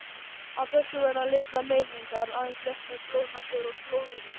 Af þessu verða litlar meiðingar, aðeins léttar blóðnasir og glóðaraugu.